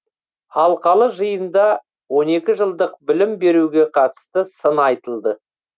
алқалы жиында он екі жылдық білім беруге қатысты сын айтылды